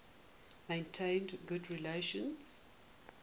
maintained good relations